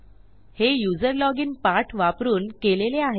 हे user login पाठ वापरून केलेले आहे